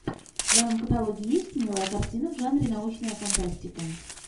в твоем каталоге есть милая картина в жанре научная фантастика